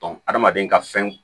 adamaden ka fɛn